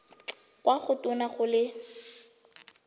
kwa go tona go le